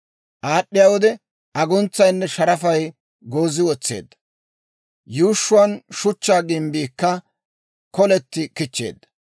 Aad'd'iyaa wode, aguntsayinne sharafay goozi wotseedda; yuushshuwaan Shuchchaa gimbbiikka koleti kichcheedda.